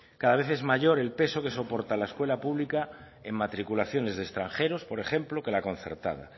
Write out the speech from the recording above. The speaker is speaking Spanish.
cada vez es mayor el peso que soporta la escuela pública en matriculaciones de extranjeros por ejemplo que la concertada